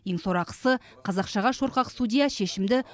ең сорақысы қазақшаға шорқақ судья шешімді